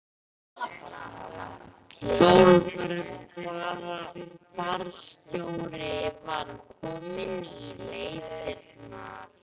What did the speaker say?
Sólborg fararstjóri var komin í leitirnar.